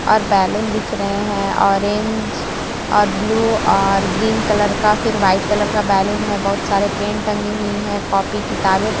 और बलून दिख रहे है ऑरेंज और ब्लू और ग्रीन कलर का फिर व्हाइट कलर का बलून है बहुत सारे पेन टंगी हुई है कापी किताबे--